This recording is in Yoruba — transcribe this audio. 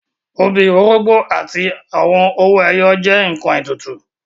Obì, orógbó àti owó ẹyọ jẹ́ àwọn ǹkan ètùtù